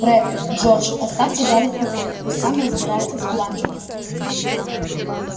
фред джордж оставьте гарри в покое пусть сам разбирается с бладжером